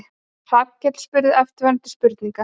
Hrafnkell spurði eftirfarandi spurningar: